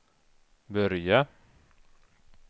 börja